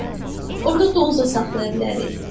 Hə, orada donuz da saxlaya bilərik.